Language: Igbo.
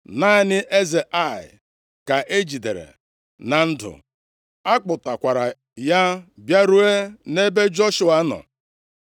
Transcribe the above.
Naanị eze Ai ka e jidere na ndụ. A kpọtakwara ya bịaruo nʼebe Joshua nọ.